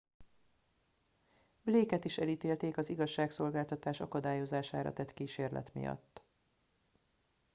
blake et is elítélték az igazságszolgáltatás akadályozására tett kísérlet miatt